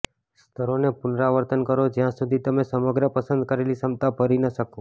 સ્તરોને પુનરાવર્તન કરો જ્યાં સુધી તમે સમગ્ર પસંદ કરેલી ક્ષમતા ભરી ન કરો